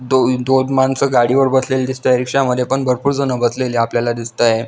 दोन दोन माणसं गाडी वर बसलेली दिसताएत रिक्षा मध्ये पण भरपूर जण बसलेली आपल्याला दिसतायेत.